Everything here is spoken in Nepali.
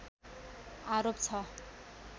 आरोप छ